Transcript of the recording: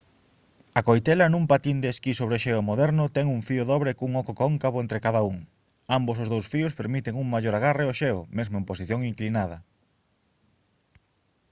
a coitela nun patín de esquí sobre xeo moderno ten un fío dobre cun oco cóncavo entre cada un ambos os dous fíos permiten un mellor agarre ao xeo mesmo en posición inclinada